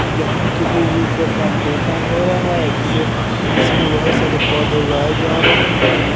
यहां किसी चीज का प्लांटेशन हो रहा है जिसे जिसमें बहोत सारे पौधे उगाए जा रहे हैं।